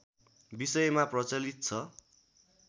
विषयमा प्रचलित छ